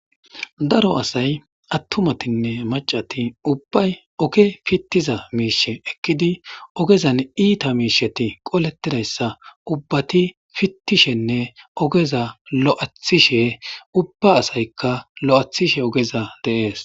Daro asayi macatine atumatine ubbayi oge pitiza misha ekiddi ogezapppe ita misha qoletida issa ubbati pitishine ogeza lo'etishe ubba asayika lo'atishe dees.